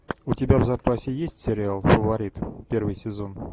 у тебя в запасе есть сериал фаворит первый сезон